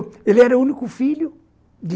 Ele era o único filho.